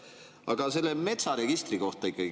Aga küsin ikkagi metsaregistri kohta.